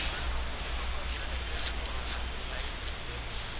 front room முன் room ல வைக்கிற decoration பொருள்ஸ் இருக்குது light இருக்குது